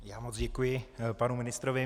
Já moc děkuji panu ministrovi.